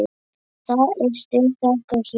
Það er stutt þangað héðan.